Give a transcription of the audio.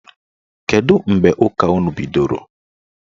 Kedụ mgbe ụka unu bidoro?